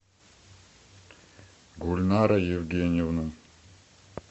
гульнара евгеньевна